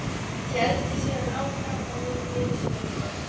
Héldi síðan áfram og nú viðstöðulaust